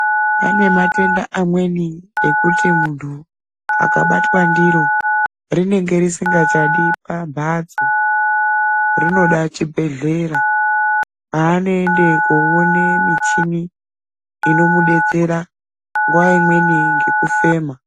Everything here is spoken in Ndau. Pane matenda amweni ekuti muntu abatwa ndiro rinenge risingachadi pambatso, rinoda chibhedhlera paanoende koone michini inomudetsera nguwa imweni ngemufema.